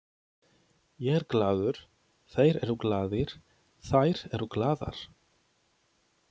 Ég er glaður, þeir eru glaðir, þær eru glaðar.